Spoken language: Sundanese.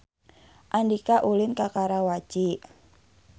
Andika ulin ka Karawaci